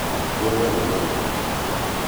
Ngũrũe nĩngoroku mũno